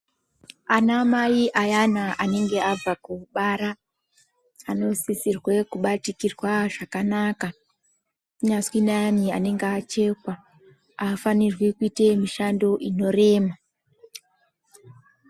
Anamai ayana anenge abva kubara anosisirwe kubatikirwa zvakanaka. Kunyazwi neayani anenge achekwa, haafanirwi kuite mishando inorema.